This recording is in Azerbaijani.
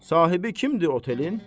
Sahibi kimdir otelin?